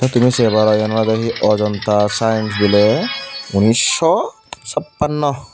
te tumi se paro iyen olode he ajanata science biley unnisaw sappanuo.